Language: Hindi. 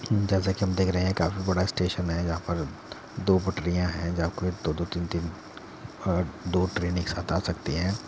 जैसा कि हम देख रहे हैं काफी बड़ा स्टेशन है जहां पर दो पटरियाँ हैं जहां पर दो दो तीन तीन और दो ट्रेन एक साथ आ सकती हैं।